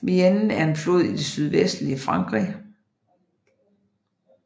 Vienne er en flod i det sydvestlige Frankrig